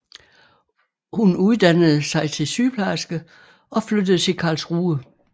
Hun uddannede sig til sygeplejerske og flyttede til Karlsruhe